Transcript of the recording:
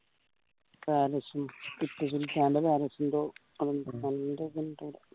palace ഉം ടിപ്പു സുൽത്താൻ്റെ കാലത്ത് എന്തോ